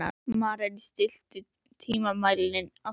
Maren, stilltu tímamælinn á sautján mínútur.